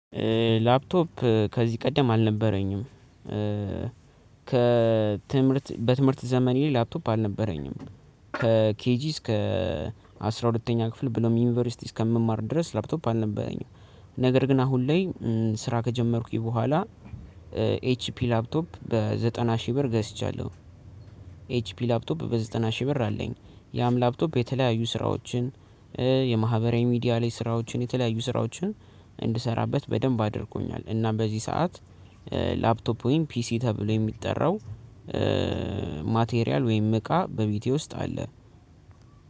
ላፕቶፕ ከዚህ ቀደም አልነበረኝም። ከትምህርት በትምህርት ዘመን ላፕቶፕ አልነበረኝም። ከኬጂ እስከ አስራ ሁለተኛ ክፍል ብሎም ዩኒቨርሲቲ እስከምማር ድረስ ላፕቶፕ አልነበረኝም። ነገር ግን አሁን ላይ ስራ ከጀመርኩኝ በኋላ። ኤችፒ ላፕቶፕ በዘጠና ሺህ ብር ገዝቻለሁ። ኤችፒ ላፕቶፕ በዘጠና ሺህ ብር አለኝ። ያም ላፕቶፕ የተለያዩ ስራዎችን የማህበራዊ ሚዲያ ላይ ስራዎችን የተለያዩ ስራዎችን እንድሰራበት በደንብ አድርጎኛል። እና በዚህ ሰዓት ላፕቶፕ ወይም ፒሲ ተብሎ የሚጠራው። ማቴሪያል ወይም እቃ በቤቴ ውስጥ አለ።